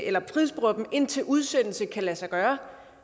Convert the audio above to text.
indtil udsendelse kan lade sig gøre